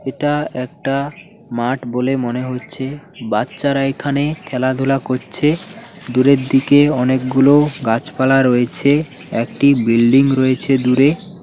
এটা একটা মাঠ বলে মনে হচ্ছে বাচ্চারা এখানে খেলাধুলা করছে দূরের দিকে অনেকগুলো গাছপালা রয়েছে একটি বিল্ডিং রয়েছে দূরে।